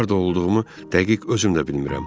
Harda olduğumu dəqiq özümdə bilmirəm.